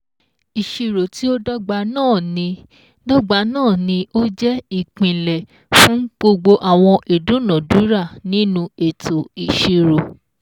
Ìṣirò tí ó dọ́gba náà ní dọ́gba náà ní ó jẹ́ ìpìnlẹ̀ fún gbogbo àwọn ìdúnàdúrà nínú ètò ìṣirò